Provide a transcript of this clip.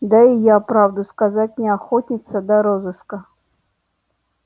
да и я правду сказать не охотница до розыска